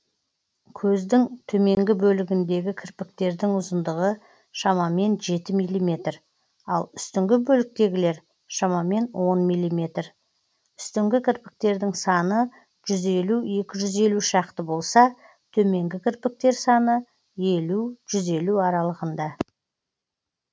көздің төменгі бөлігіндегі кірпіктердің ұзындығы шамамен жеті миллиметр ал үстіңгі бөліктегілер шамамен он миллиметр үстіңгі кірпіктердің саны жүз елу екі жүз елу шақты болса төменгі кірпіктер саны елу жүз елу аралығында